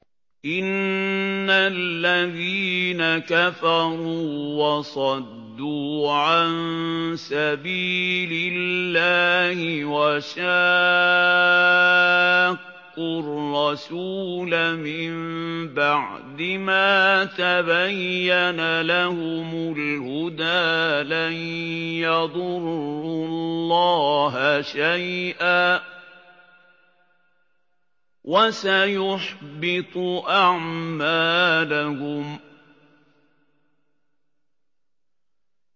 إِنَّ الَّذِينَ كَفَرُوا وَصَدُّوا عَن سَبِيلِ اللَّهِ وَشَاقُّوا الرَّسُولَ مِن بَعْدِ مَا تَبَيَّنَ لَهُمُ الْهُدَىٰ لَن يَضُرُّوا اللَّهَ شَيْئًا وَسَيُحْبِطُ أَعْمَالَهُمْ